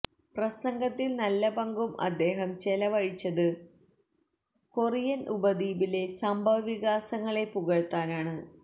പ്രസംഗത്തില് നല്ല പങ്കും അദ്ദേഹം ചെലവഴിച്ചത് കൊറിയന് ഉപദ്വീപിലെ സംഭവവികാസങ്ങളെ പുകഴ്ത്താനാണ്